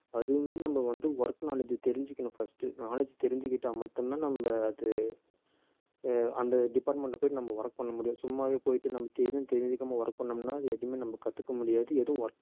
அதுவுமே நம்ம வந்து work knowledge தெரிஞ்சுக்கணும் first knowledge தெரிஞ்சுக்கிட்டா மட்டும்தான் நம்ம அது அஹ் அந்த department ல போயிட்டு நம்ம work பண்ண முடியும் சும்மாவே போயிட்டு நமக்கு எதுவும் தெரிஞ்சிக்காம work பண்ணோம்னா அது எதுவுமே நம்ம கத்துக்க முடியாது எதுவும் work